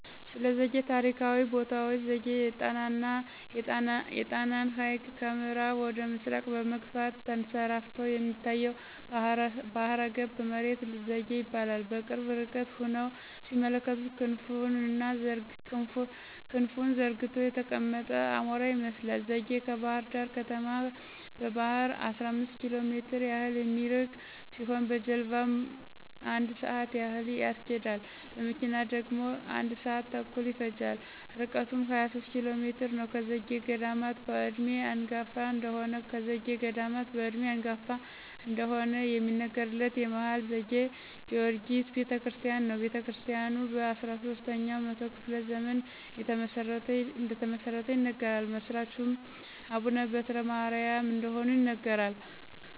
ስለዘጌ ታሪካዊ ቦታዎች ዘጌ የጣናን ሀይቅ ከምአራብ ወደ ምስራቅ በመግፋት ተንሰራፍቶ የሚታየው ባህረገብ መሬት ዘጌ ይባላል። በቅርብ ርቀት ሁነው ሲመለከቱት ክንፉን ዘርግቶ የተቀመጠ አሞራ ይመስላል ዘጌ ከባህርዳር ከተማ በባህር 15 ኪሎሜትር ያህል የሚርቅ ሲሆን በጀልባሞ 1 ስአት ያህል ያስኬዳል። በመኪና ደግሞ 1 ስአት ተኩል ይፈጃል ርቀቱም 23 ኪሎሜትር ነዉ። ከዘጌ ገዳማት በእድሜ አንጋፋ እደሆነ ከዘጌ ገዳማት በእድሜ አንጋፋ እደሆነ የሚነገርለት የመሀል ዘጌ ጊወርጊስ ቤተክርስቲያን ነው። ቤተክርስታያኑ በ13 ኛው መቶ ክፍለ ዘመን እደተመሰረተ ይነገራል። መስራቹም አቡነ በትረማርያም እደሆኑ ይነገራል። በመሀል